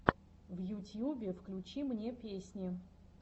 в ютьюбе включи мне песни